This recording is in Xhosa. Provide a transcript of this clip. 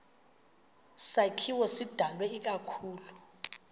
sakhiwo sidalwe ikakhulu